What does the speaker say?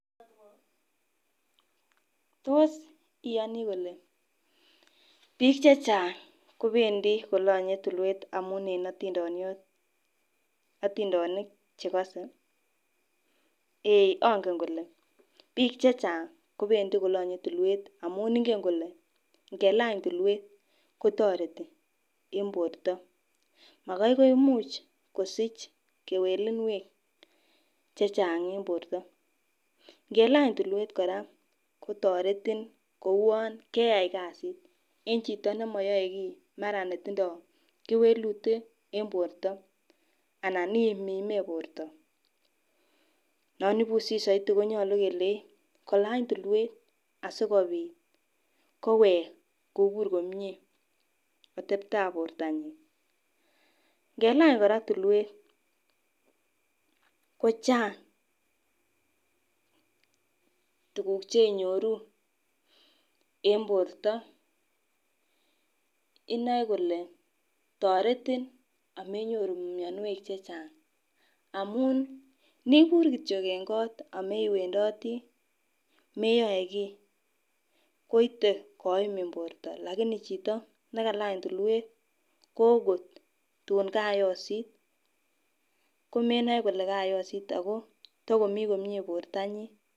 tos iyonii kole bik chechang kowendii kolonye tulwet amun en otindionit chekose eeh ongen kole bik checheng kobendii kolonye tulwet amun ingen kole nkelany tulwet kotoreti en borto makoi komuch kosich kwelunwek chechang en borto nkelany tulwet koraa kotoretin kouwon kasit en chito nemoyoe kii mara netindo kewelut en borto anan imimi borto. Non ibusi soiti konyolu kelei kolany tulwet asikoit kowek kobur komie otebtab bortanyin. Ngelany kora tulwet kochang tukuk cheinyoru en borto inoe kole toretin amenyoru mionwokik chechang amun nibur kityok en kot omewendotii meyoe kii koite koimin borto lakini chito nekalany tulwet ko okot tun kayosit komenoe kole kayosit ako tokomii komie bortanyin.